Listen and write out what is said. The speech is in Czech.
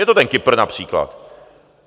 Je to ten Kypr například.